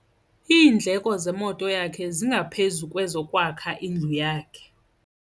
Iindleko zemoto yakhe zingaphezu kwezokwakha indlu yakhe.